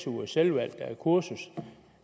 ugers selvvalgt kursus